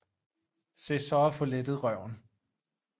Se så at få lettet røven